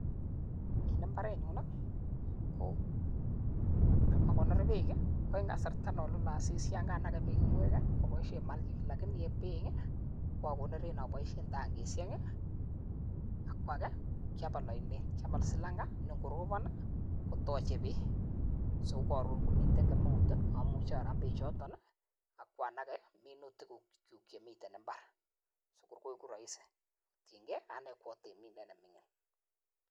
En imbarenyun ko kogonor beek ko en kasarta non lole asista, yon kanage beek ng'wek aboishen mulching. Lakini en beek ko akonoren aboishen tangishek, ak ko age kokiabal oinet, kyabaa silanget ne ngorobon kotoche beek. So ko koron komiten kemeut amuche aram beechoton ak iba nage minutikyuk chemiten mbar. Sikor koigu rahisi kotienge ane ko atemindet ne ming'in.